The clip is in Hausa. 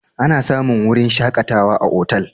Ana samun wurin shakatawa a otal.